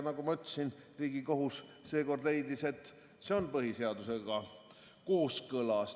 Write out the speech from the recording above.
Nagu ma ütlesin, Riigikohus seekord leidis, et see on põhiseadusega kooskõlas.